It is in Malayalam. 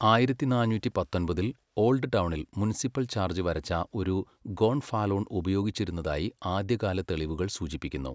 ആയിരത്തി നാന്നൂറ്റി പത്തൊമ്പതിൽ ഓൾഡ് ടൗണിൽ മുനിസിപ്പൽ ചാർജ്ജ് വരച്ച ഒരു ഗോൺഫാലോൺ ഉപയോഗിച്ചിരുന്നതായി ആദ്യകാല തെളിവുകൾ സൂചിപ്പിക്കുന്നു.